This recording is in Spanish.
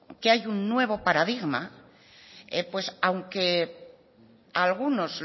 que hay un nuevo paradigma pues aunque algunos